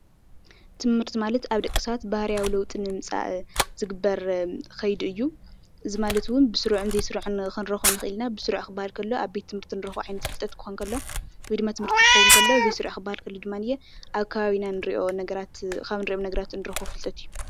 ትምህርቲ ማለት ኣብ ደቂ ሰባት ባህርያዊ ለውጢ ንምምፃእ ዝግበር ከይዲ እዩ፡፡ ብስሩዕን ዘይስሩዕን ክንረኽቦ ንኽእል ኢና፡፡ ብስሩዕ ክባሃል ከሎ ኣብ ቤት ትምህርቲ እንረክቦ ዓይነት ፍልጠት ክኸውን እንከሎ ወይ ድማ ትምህርቲ ክኾውን ከሎ እዚ ዘይስሩዕ ክባሃል ከሎ ድማ ኣብ ከባቢና ካብ ንሪኦም ነገራት ንረኽቦ ፍልጠት እዩ፡፡